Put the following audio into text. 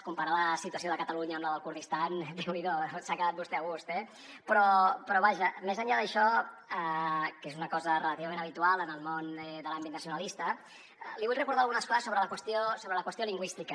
comparar la situació de catalunya amb la del kurdistan déu n’hi do s’ha quedat vostè a gust eh però vaja més enllà d’això que és una co sa relativament habitual en el món de l’àmbit nacionalista li vull recordar algunes coses sobre la qüestió lingüística